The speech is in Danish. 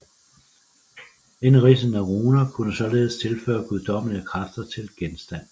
Indridsede runer kunne således tilføre guddommelige kræfter til genstand